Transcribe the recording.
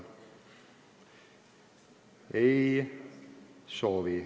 Ei soovi.